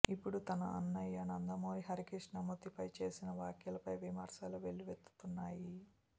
ఇప్పుడు తన అన్నయ్య నందమూరి హరికృష్ణ మృతిపై చేసిన వ్యాఖ్యలపై విమర్శలు వెల్లువెత్తుతున్నాయి